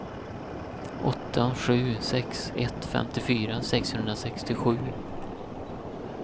åtta sju sex ett femtiofyra sexhundrasextiosju